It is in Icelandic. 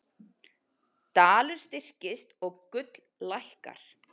Dalur styrkist og gull lækkar